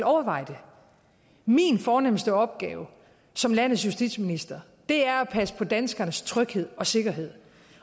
overveje det min fornemste opgave som landets justitsminister er at passe på danskernes tryghed og sikkerhed